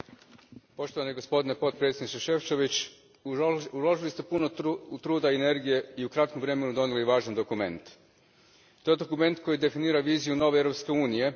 Gospodine predsjedniče, gospodine potpredsjedniče Šefčović, uložili ste puno truda i energije, i u kratkom vremenu donijeli važan dokument. To je dokument koji definira viziju nove Europske unije.